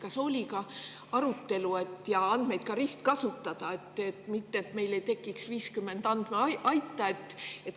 Kas oli arutelu ka selle üle, et andmeid ristkasutada, et meil ei tekiks 50 andmeaita?